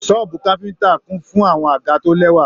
Sọ̀ọ́bú káfíntà kún fún àwọn àga to lẹwa.